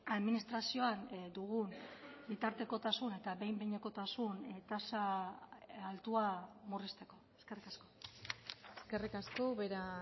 administrazioan dugun bitartekotasuna eta behin behinekotasun tasa altua murrizteko eskerrik asko eskerrik asko ubera